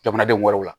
Jamanadenw wɛrɛw la